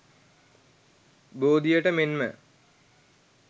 බෝධියට මෙන්ම